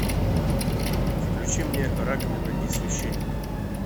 включи мне раковина и священник